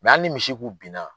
hali ni misi kun bin na.